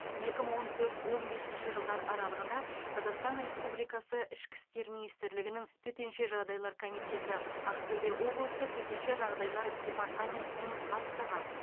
екі мың он төрт он бесінші жылдар аралығында қазақстан республикасы ішкі істер министрлігінің төтенше жағдайлар комитеті ақтөбе облысы төтенше жағдайлар департаментінің бастығы